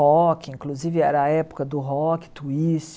Rock, inclusive, era a época do rock, twist...